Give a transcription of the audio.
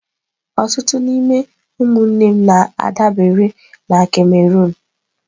Ọtụtụ n'ime ụmụnne m na-adabere na Cameroon.